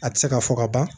A tɛ se ka fɔ ka ban